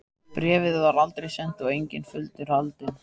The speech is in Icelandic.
Bréfið var aldrei sent og enginn fundur haldinn.